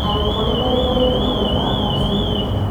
Arutwo nĩ mareganite na mũbango ucio